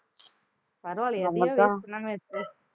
பரவாயில்லையே எதையும் waste பண்ணாம வச்சி